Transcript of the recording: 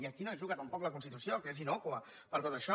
i aquí no hi juga tampoc la constitució que és innòcua per tot això